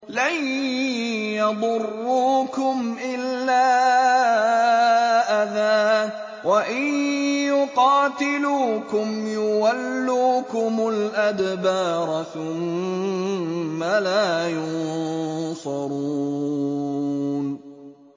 لَن يَضُرُّوكُمْ إِلَّا أَذًى ۖ وَإِن يُقَاتِلُوكُمْ يُوَلُّوكُمُ الْأَدْبَارَ ثُمَّ لَا يُنصَرُونَ